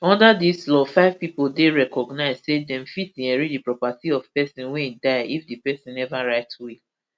under dis law five pipo dey recognised say dem fit inherit di property of pesin wey die if di pesin neva write will